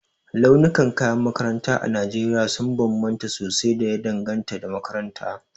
Launukan kayan makaranta a Najeriya sun bambanta sosai da ya danganta da makaranta.